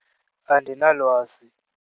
Andinalwazi.